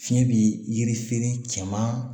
Fiɲɛ bi yiri feere cɛman